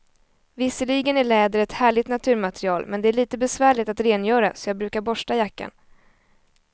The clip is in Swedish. Visserligen är läder ett härligt naturmaterial, men det är lite besvärligt att rengöra, så jag brukar borsta jackan.